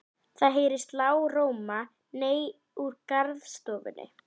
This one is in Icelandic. Það heyrist lágróma nei úr garðstofunni.